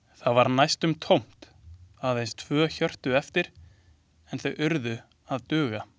Það var næstum tómt, aðeins tvö hjörtu eftir, en þau urðu að duga.